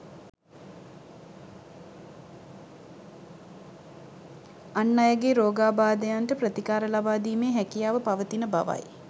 අන් අයගේ රෝගාබාධයන්ට ප්‍රතිකාර ලබාදීමේ හැකියාව පවතින බවයි